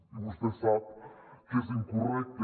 i vostè sap que és incorrecte